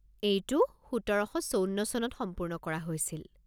এইটো সোতৰ শ আঠাৱন্ন চনত সম্পূৰ্ণ কৰা হৈছিল।